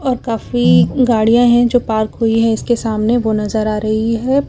और काफी गाड़ियां हैं जो पार्क हुई है इसके सामने वो नजर आ रही है।